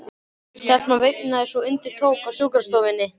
Stelpan veinaði svo undir tók á sjúkrastofunni.